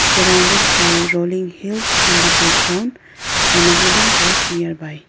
surrounded by rolling hills in the background and a wooden post nearby.